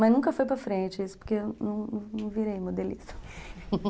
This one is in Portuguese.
Mas nunca foi para frente isso, porque eu não não virei modelista